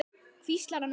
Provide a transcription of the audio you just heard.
hvíslar hann á móti.